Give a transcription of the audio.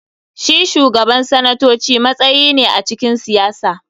Shi Shugaban sanatoci matsayi ne a cikin siyasa.